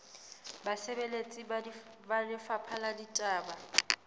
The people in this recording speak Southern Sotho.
basebeletsi ba lefapha la ditaba